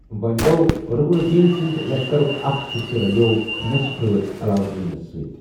وونہِ گوٚو رٗکن الدین سٕنٛد لشکرُک اکھ حصہ رلِیوو نٮ۪صٕف رٲژ علاؤالدینس سٕتہِ۔